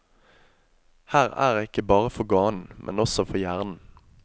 Her er det ikke bare for ganen, men også for hjernen.